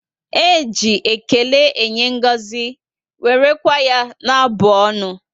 E ji ékélé enye ngọzi, wéré kwa ya na abụ ọnụ